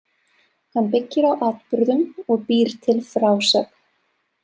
Hann byggir á atburðum og býr til frásögn.